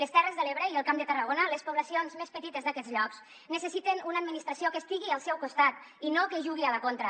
les terres de l’ebre i el camp de tarragona les poblacions més petites d’aquests llocs necessiten una administració que estigui al seu costat i no que jugui a la contra